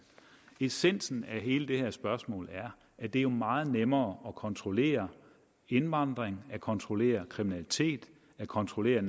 essensen af hele det her spørgsmål er at det er meget nemmere at kontrollere indvandring at kontrollere kriminalitet at kontrollere